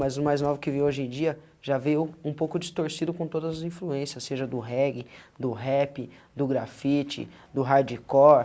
Mas o mais novo que veio hoje em dia já veio um pouco distorcido com todas as influências, seja do reggae, do rap, do grafite, do hardcore.